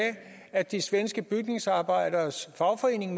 at de svenske bygningsarbejderes fagforening